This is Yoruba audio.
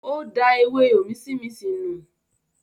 Ó da “ewé òmísínminsìn ” nù.